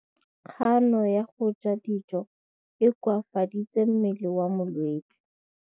Kganô ya go ja dijo e koafaditse mmele wa molwetse.